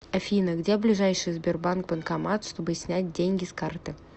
афина где ближайший сбербанк банкомат чтобы снять деньги с карты